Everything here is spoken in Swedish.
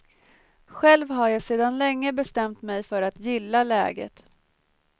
Själv har jag sedan länge bestämt mig för att gilla läget.